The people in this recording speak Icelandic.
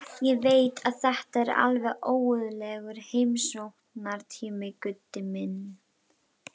Ég veit að þetta er alveg óguðlegur heimsóknartími, Gutti minn.